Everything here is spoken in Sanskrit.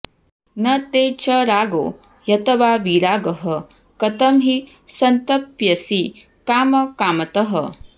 न ते च रागो ह्यथवा विरागः कथं हि सन्तप्यसि कामकामतः